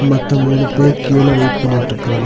மத்த மூணு பேர் க்யூல வெயிட் பண்ணிட்டுருக்காங்க.